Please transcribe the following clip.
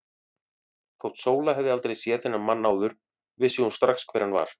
Þótt Sóla hefði aldrei séð þennan mann áður vissi hún strax hver hann var.